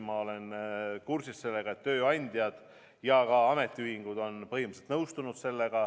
Ma olen kursis sellega, et tööandjad ja ka ametiühingud on põhimõtteliselt nõustunud.